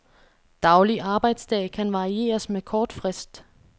Daglig arbejdsdag kan varieres med kort frist.